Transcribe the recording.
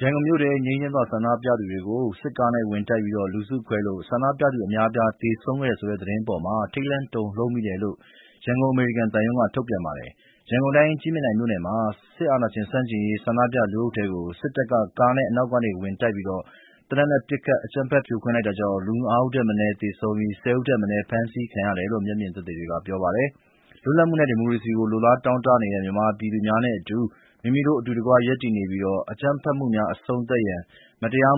ရန်ကုန်မြို့ထဲ ငြိမ်းချမ်းစွာ ဆန္ဒပြသူတွေကို စစ်ကားနဲ့တိုက်ပြီး လူစုခွဲလို့ ဆန္ဒပြသူ အများအပြား သေဆုံးတယ်ဆိုတဲ့ သတင်းအပေါ်မှာ ထိတ်လန့်တုန်လှုပ်မိတယ်လို့ ရန်ကုန် အမေရိကန်သံရုံးက ထုတ်ပြန်ပါတယ်။ ရန်ကုန်တိုင်း ကြည့်မြင်တိုင်မြို့နယ်မှာ စစ်အာဏာရှင်ဆန့်ကျင်ရေး ဆန္ဒပြလူအုပ်ထဲကို စစ်တပ်က ကားနဲ့ အနောက်ကနေ ဝင်တိုက်ပြီး သေနတ်နဲ့ပစ်ခတ် အကြမ်းဖက် ဖြိုခွင်းလိုက်တာကြောင့် ၅ ဦးထက်မနည်း သေဆုံးပြီး ၁၀ ဦးထက်မနည်း ဖမ်းဆီးခံရတယ်လို့ မျက်မြင်တွေက ပြောပါတယ်။ လွတ်လပ်မှုနှင့် ဒီမိုကရေစီအတွက် လိုလားတောင့်တနေသော မြန်မာပြည်သူများနှင့်အတူ မိမိတို့ အတူတကွ ရပ်တည်နေပြီး အကြမ်းဖက်မှုများ အဆုံးသတ်ရန်၊ မတရား